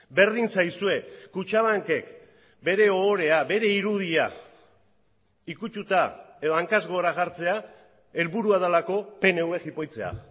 berdin zaizue kutxabankek bere ohorea bere irudia ikututa edo hankaz gora jartzea helburua delako pnv jipoitzea